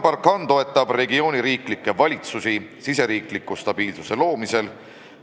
Barkhanega toetatakse regiooni riikide valitsusi olukorra stabiliseerimisel.